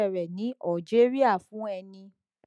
bp fee ta ileiṣẹ rẹ ní algeria fún eni